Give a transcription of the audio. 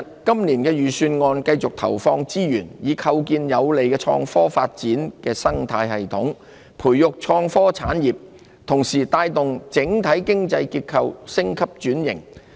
今年的預算案會繼續投放資源，以構建有利創科發展的生態系統，培育創科產業，同時帶動整體經濟結構升級轉型。